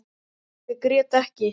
Ég grét ekki.